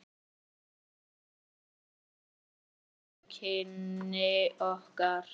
Þannig byrjuðu kynni okkar.